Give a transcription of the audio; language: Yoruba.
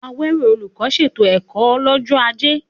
Awero, olùkọ́, ṣètò ẹ̀kọ́ lọ́jọ́ Ajé.